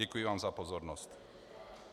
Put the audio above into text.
Děkuji vám za pozornost.